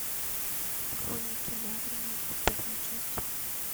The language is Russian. хроники нарнии первая часть